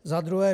Za druhé.